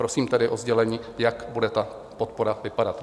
Prosím tedy o sdělení, jak bude ta podpora vypadat.